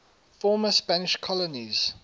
former spanish colonies